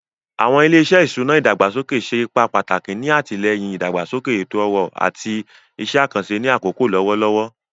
Awọn ile-iṣẹ iṣuna idagbasoke ṣe ipa pataki ni atilẹyin idagbasoke eto-ọrọ ati awọn iṣẹ akanṣe ni akoko lọwọlọwọ.